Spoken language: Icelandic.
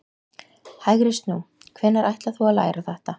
HÆGRI SNÚ, hvenær ætlar þú að læra þetta.